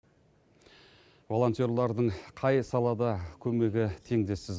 волонтерлардың қай салада көмегі теңдессіз